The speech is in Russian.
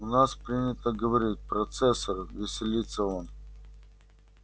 у нас принято говорить процессор веселится он